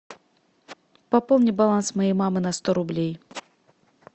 пополни баланс моей мамы на сто рублей